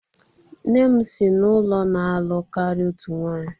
Nne m si n'ụlọ na-alụ karịa otu nwanyị.